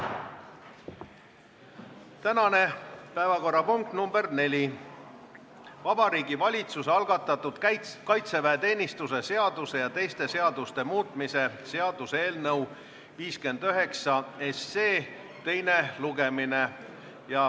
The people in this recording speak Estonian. Tänane päevakorrapunkt nr 4 on Vabariigi Valitsuse algatatud kaitseväeteenistuse seaduse ja teiste seaduste muutmise seaduse eelnõu 59 teine lugemine.